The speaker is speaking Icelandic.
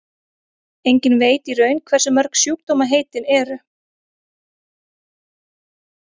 enginn veit í raun hversu mörg sjúkdómaheitin eru